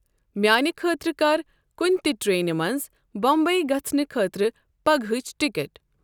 میانِہ خٲطرٕ کر کُنِہ تِہ ٹرینِہ منز بمبئی گژھنہٕ خٲطرٕ پگہٲچۍ ٹکٹ ۔